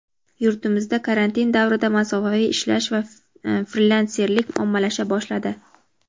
Yurtimizda karantin davrida masofaviy ishlash va frilanserlik ommalasha boshladi.